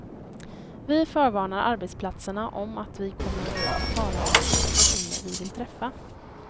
Vi förvarnar arbetsplatserna om att vi kommer och talar om vilka personer vi vill träffa.